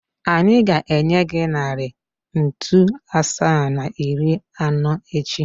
Anyị ga-enye gị narị ntu asaa na iri anọ echi.